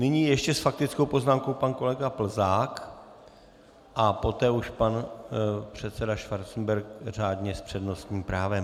Nyní ještě s faktickou poznámkou pan kolega Plzák a poté už pan předseda Schwarzenberg řádně s přednostním právem.